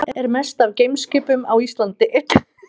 Hvar er mest af geimskipum á Íslandi?